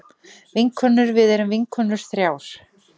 Vinkonur við erum vinkonur þrjár.